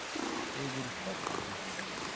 я говорю ставьте три